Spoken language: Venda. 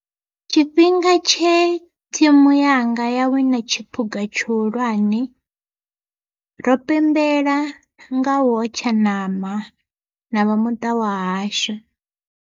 Tshifhinga tshe thimu yanga ya wina tshiphuga tshihulwane, ro pembela nga u hotsha ṋama na vha muṱa wa hashu.